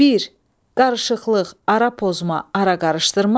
Bir, qarışıqlıq, ara pozma, ara qarışdırma.